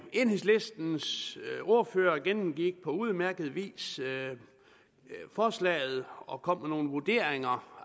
enhedslistens ordfører gennemgik på udmærket vis forslaget og kom med nogle vurderinger